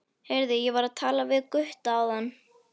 Heyrðu, ég var að tala við Gutta áðan.